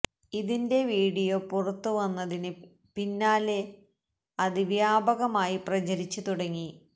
ഇതിന്റെ വീഡിയോ പുറത്തവന്നതിന് വന്നതിന് പിന്നാലെ അത് വ്യാപകമായി പ്രചരിച്ചു തുടങ്ങി